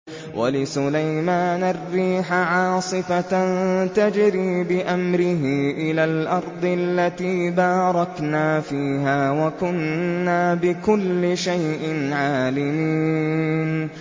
وَلِسُلَيْمَانَ الرِّيحَ عَاصِفَةً تَجْرِي بِأَمْرِهِ إِلَى الْأَرْضِ الَّتِي بَارَكْنَا فِيهَا ۚ وَكُنَّا بِكُلِّ شَيْءٍ عَالِمِينَ